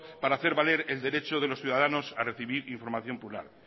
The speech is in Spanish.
para hacer valer el derecho de los ciudadanos a recibir información plural